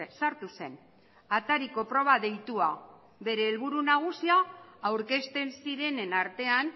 sartu zen atariko proba deitua bere helburu nagusia aurkezten zirenen artean